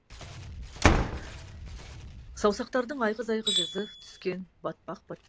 саусақтардың айғыз айғыз ізі түскен батпақ батпақ